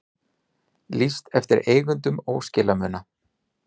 Lýst eftir eigendum óskilamuna